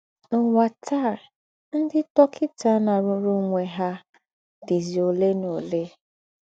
N’ụ́wà tàa, ńdị́ dọ́kịtà ná-àrụ́rù ònwè ha dìzì ólè na ólè.